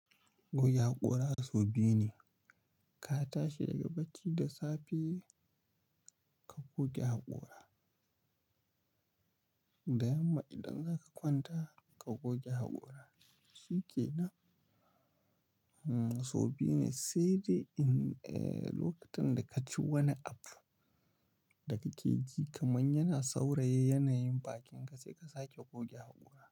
Goge haƙora so biyu ne. Ka tashi daga bacci da safe ka goge haƙora. Da yamma idan zaka kwanta ka goge haƙora. Shi ke nan. So biyu ne, sai dai in, eh, lokacin da ka ci wani abu da kake ji kaman yana sauraye yanayin bakinka sai ka sake goge haƙora.